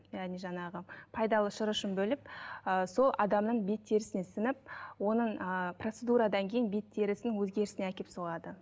яғни жаңағы пайдалы шырышын бөліп ы сол адамның бет терісіне сіңіп оның ы процедурадан кейін бет терісінің өзгерісіне әкеліп соғады